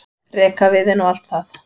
rekaviðinn og allt það.